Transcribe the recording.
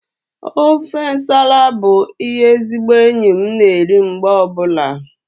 Ofe nsala bụ ihe ezigbo enyi na-eri mgbe ọbụla